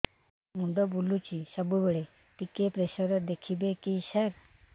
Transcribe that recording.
ମୁଣ୍ଡ ବୁଲୁଚି ସବୁବେଳେ ଟିକେ ପ୍ରେସର ଦେଖିବେ କି ସାର